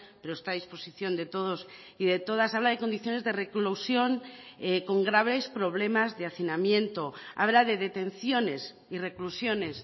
pero está a disposición de todos y de todas habla de condiciones de reclusión con graves problemas de hacinamiento habla de detenciones y reclusiones